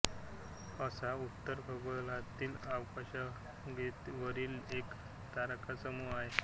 हंस हा उत्तर खगोलातील आकाशगंगेवरील एक तारकासमूह आहे